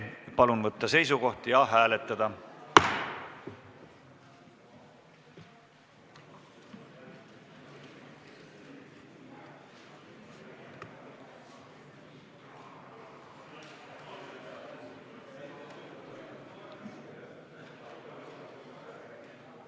Palun võtta seisukoht ja hääletada!